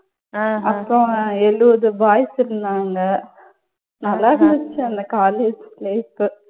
அப்புறம் எழுபது boys இருந்தாங்க. நல்லா இருந்துச்சு அந்த college place உ.